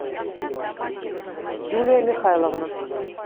юлия михайловна